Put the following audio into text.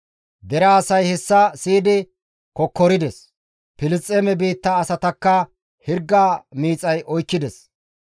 Dere asay hessa siyidi kokkorides. Filisxeeme biitta asatakka hirga miixay oykkides.